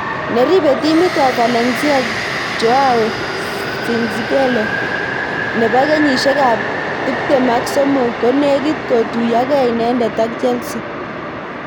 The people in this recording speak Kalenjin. Neribei timit ab Valencia Joao Cncelo nebo kenyishek ab tip tem ak somok konekit kotuyokei inendet ak Chelsea.